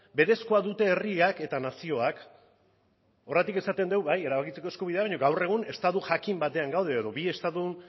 berezkoa dute herriak eta nazioak horregatik esaten dugu bai erabakitzeko eskubidea baino gaur egun estatu jakin batean gaude edo bi estatu